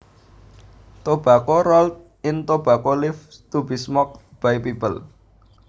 Tobacco rolled in tobacco leaves to be smoked by people